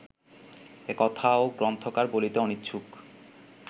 এ কথাও গ্রন্থকার বলিতে অনিচ্ছুক